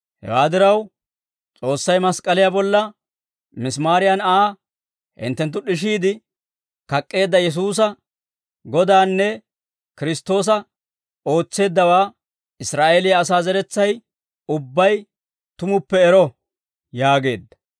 «Hewaa diraw, S'oossay mask'k'aliyaa bolla misimaariyan ha hinttenttu d'ishiide kak'k'eedda Yesuusa Godanne Kiristtoosa ootseeddawaa Israa'eeliyaa asaa zeretsay ubbay tumuppe ero» yaageedda.